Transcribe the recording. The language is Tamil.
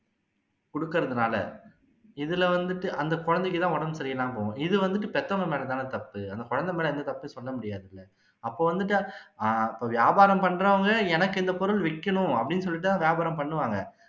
கொடுக்குறதுனால இதுல வந்துட்டு அந்த குழந்தைக்கு தான் உடம்பு சரியிலாம போகும் இது வந்து பெத்தவங்க மேல தானே தப்பு அந்த குழந்தை மேல எந்த தப்பும் சொல்ல முடியாதுல்ல அப்போ வந்துட்டு அ அப்போ வியாபாரம் பண்றவங்க எனக்கு இந்த பொருள் விக்கணும் அப்படின்னு சொல்லிட்டு தான் வியாபாரம் பண்ணுவாங்க